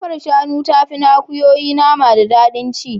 Kafar shanu tafi ta akuyoyi nama da daɗin ci.